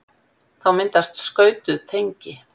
þá myndast skautuð tengi